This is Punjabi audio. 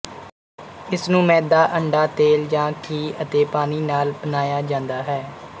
ਇਸਨੂੰ ਮੈਦਾ ਅੰਡਾ ਤੇਲ ਜਾਂ ਘੀ ਅਤੇ ਪਾਣੀ ਨਾਲ ਬਣਾਇਆ ਜਾਂਦਾ ਹੈ